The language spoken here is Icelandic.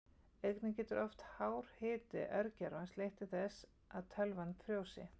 Einnig getur of hár hiti örgjörvans leitt til þess að tölvan frjósi.